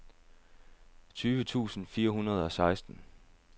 tyve tusind fire hundrede og seksten